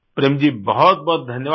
प्रेम जी बहुतबहुत धन्यवाद